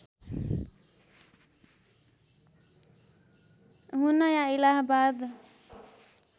हुन या इलाहाबाद